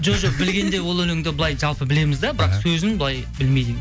жоқ білгенде ол өлеңді былай жалпы білеміз де бірақ сөзін былай білмейді